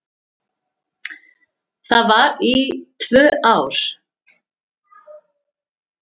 Það var í tvö ár.